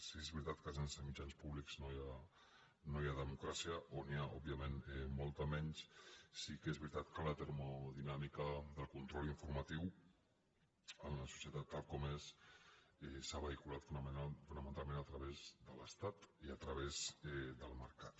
sí que és veritat que sense mitjans públics no hi ha democràcia o n’hi ha òbviament molta menys sí que és veritat que la termodinàmica del control informatiu en la societat tal com és s’ha vehiculat fonamentalment a través de l’estat i a través del mercat